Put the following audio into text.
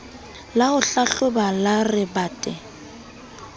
la ho hlahloba la rebate